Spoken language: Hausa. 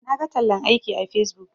Naga tallan aiki a facebook.